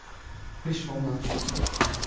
пришёл на хуй